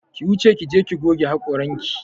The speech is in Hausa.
Ki wuce ki je ki goge haƙoranki!